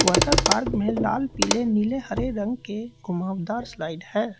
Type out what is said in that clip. Water park में लाल पीले नीले हरे रंग के घुमावदार स्लाइड है।